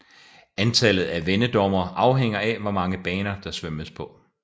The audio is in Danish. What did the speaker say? Antallet af vendedommere afhænger af hvor mange baner der svømmes på